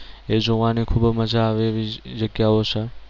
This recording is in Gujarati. એ જોવાની ખૂબ મજા આવે એવી જગ્યાઓ છે.